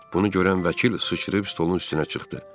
Bunu görən vəkil sıçrayıb stolun üstünə çıxdı.